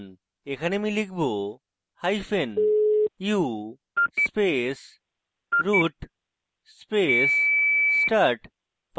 এখানে আমি লিখবu space root space start